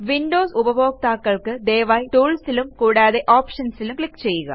Windows ഉപഭോക്താക്കൾ ദയവായി Toolsലും കൂടാതെ Optionsലും ക്ലിക്ക് ചെയ്യുക